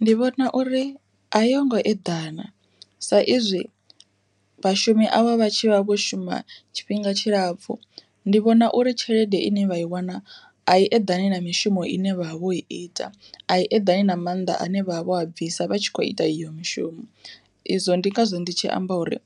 Ndi vhona uri a yongo eḓana sa izwi vhashumi avha vha tshi vha vho shuma tshifhinga tshilapfhu, ndi vhona uri tshelede ine vha i wana a i eḓani na mishumo ine vhavha vho ita ai eḓani na mannḓa ane vhavha vho bvisa vha tshi kho ita iyo mishumo izwo ndi ngazwo ndi tshi amba uri